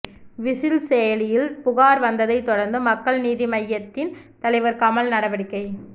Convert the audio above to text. whistle செயலியில் புகார் வந்ததை தொடர்ந்து மக்கள் நீதி மய்யதின் தலைவர் கமல் நடவடிக்கை